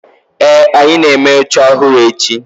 ee, anyi na-eme oche ohuru echi